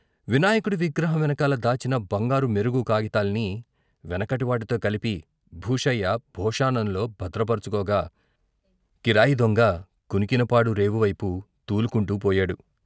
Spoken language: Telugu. వినాయకుడి విగ్రహం వెనకాల దాచిన బంగారు మెరుగు కాగితాల్ని వెనకటి వాటితో కలిపి భూషయ్య భోషాణంలో భద్రపరుచుకోగా, కిరాయి దొంగ కునికినపాడు రేపు వైపు తూలుకుంటూ పోయాడు.